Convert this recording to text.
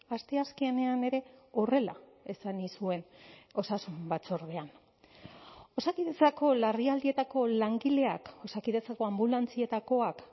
asteazkenean ere horrela esan nizuen osasun batzordean osakidetzako larrialdietako langileak osakidetzako anbulantzietakoak